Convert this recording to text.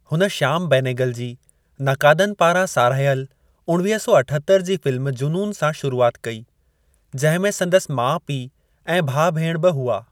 हुन श्याम बेनेगल जी, नकादनि पारां साराहियल उणवीह सौ अठतर जी फ़िल्म जुनून सां शुरूआत कई, जंहिं में संदसि माउ-पीउ ऐं भाउ-भेणु बि हुआ।